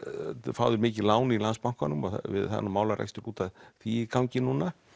fá þeir mikið lán í Landsbankanum og það er nú málarekstur út af því í gangi núna